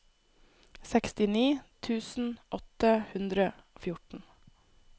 sekstini tusen åtte hundre og fjorten